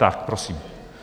Tak, prosím.